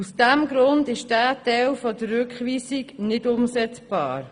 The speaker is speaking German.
Aus diesem Grund ist dieser Teil des Rückweisungsantrags nicht umsetzbar.